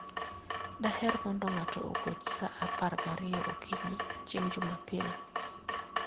Daher mondo ng'ato ogoch sa apar gariyo okinyi chieng' Jumapil.